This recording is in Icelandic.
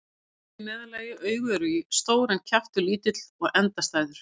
Haus er í meðallagi, augu eru stór en kjaftur lítill og endastæður.